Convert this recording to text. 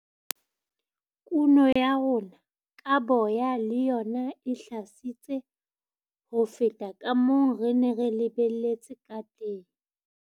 Kuno ya rona ka boya le yona e hlahisitse ho feta ka moo re neng re lebelletse ka teng.